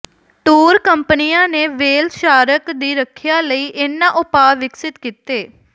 tour ਕੰਪਨੀਆਂ ਨੇ whale shark ਦੀ ਰੱਖਿਆ ਲਈ ਇਨ੍ਹਾਂ ਉਪਾਅ ਵਿਕਸਿਤ ਕੀਤੇ